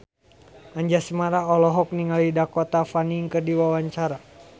Anjasmara olohok ningali Dakota Fanning keur diwawancara